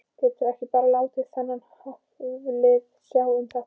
Geturðu ekki bara látið þennan Hafliða sjá um þetta?